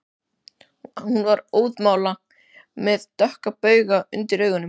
Hún var óðamála og með dökka bauga undir augunum